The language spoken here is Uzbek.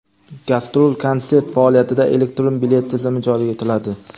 Gastrol-konsert faoliyatida elektron bilet tizimi joriy etiladi.